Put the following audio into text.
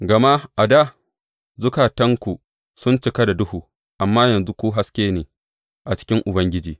Gama a dā zukatanku sun cika da duhu, amma yanzu ku haske ne a cikin Ubangiji.